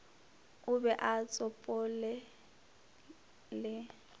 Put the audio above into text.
o be o tsopole le